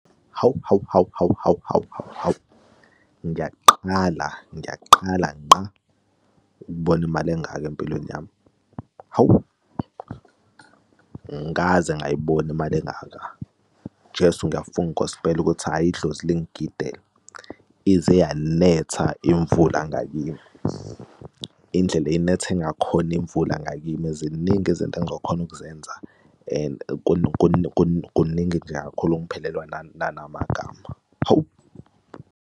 Hawu, hawu, hawu, hawu, hawu, hawu, hawu, hawu, ngiyaqala, ngiyaqala ngqa ukubona imali engaka empilweni yami. Hawu angikaze ngayibona imali engaka, Jesu ngiyafunga inkosi mpela ukuthi hhayi idlozi lingigidele ize yanetha imvula ngakimi, indlela ayinethe ngakhona imvula ngakimi, ziningi izinto engizokhona ukuzenza and kuningi nje kakhulu ngiphelelwa nanamagama, hawu.